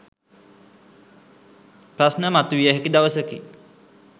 ප්‍රශ්න මතුවිය හැකි දවසකි.